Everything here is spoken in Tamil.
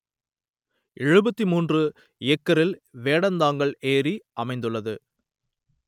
எழுபத்தி மூன்று ஏக்கரில் வேடந்தாங்கல் ஏரி அமைந்துள்ளது